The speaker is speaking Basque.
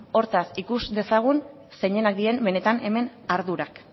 hortaz ikus dezagun zeinenak diren benetan hemen ardurak